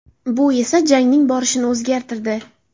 Bu esa jangning borishini o‘zgartirdi.